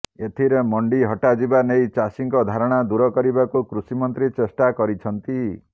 ଏଥିରେ ମଣ୍ଡି ହଟିଯିବା ନେଇ ଚାଷୀଙ୍କ ଧାରଣା ଦୂର କରିବାକୁ କୃଷି ମନ୍ତ୍ରୀ ଚେଷ୍ଟା କରିଛନ୍ତି